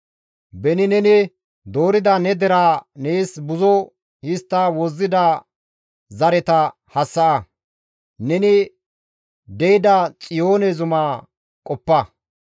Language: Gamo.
Beni neni doorida ne deraa nees buzo histta wozzida zareta hassa7a; neni de7ida Xiyoone Zuma qoppa.